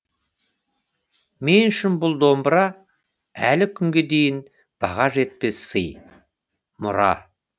мен үшін бұл домбыра әлі күнге дейін баға жетпес сый мұра